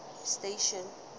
station